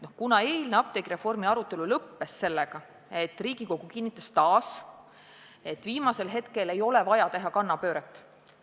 Eilne apteegireformi arutelu lõppes sellega, et Riigikogu kinnitas taas, et viimasel hetkel ei ole vaja teha kannapööret.